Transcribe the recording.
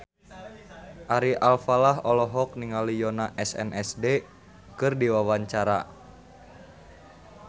Ari Alfalah olohok ningali Yoona SNSD keur diwawancara